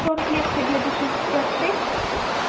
сорок лет победы шестьдесят шесть